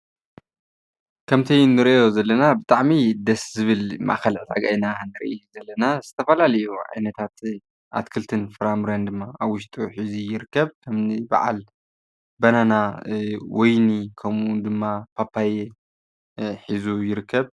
ከምቲ ንሪኦ ዘለና ብጣዕሚ ደስ ዝብል ማእኸል ዕዳጋ ኢና ንርኢ ዘለና ዝተፈላለዩ ዓይነታት ኣትክልትን ፍራምረን ድማ ኣብ ውሽጡ ሒዙ ይርከብ እኒ በዓል ባናና ወይኒ ከምኡ ውን ደማ ፓፓየ ሒዙ ይርከብ ።